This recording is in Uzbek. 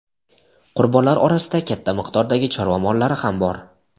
Qurbonlar orasida katta miqdordagi chorva mollari ham bor.